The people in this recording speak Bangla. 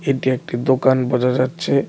এটি একটি দোকান বোঝা যাচ্ছে।